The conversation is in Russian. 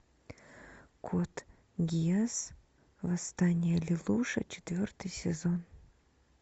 код гиас восстание лелуша четвертый сезон